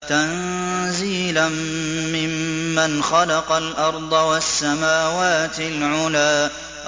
تَنزِيلًا مِّمَّنْ خَلَقَ الْأَرْضَ وَالسَّمَاوَاتِ الْعُلَى